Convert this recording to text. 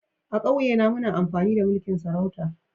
A'kauye na muna amfani da mulki'n sarauta.